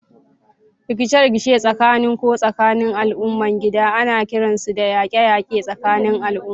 Rikice-rikice tsakanin ko tsakanin al'ummomin gida ana kiransu da yaƙe-yaƙe tsakanin al'umma.